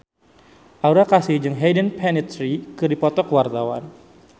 Aura Kasih jeung Hayden Panettiere keur dipoto ku wartawan